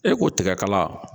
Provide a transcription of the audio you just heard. E ko tigɛkala